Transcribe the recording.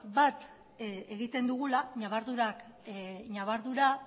bat egiten dugula ñabardura